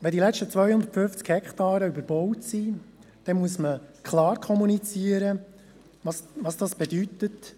Wenn die letzten 250 Hektaren überbaut sind, muss klar kommuniziert werden, was dies bedeutet.